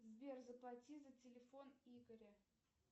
сбер заплати за телефон игоря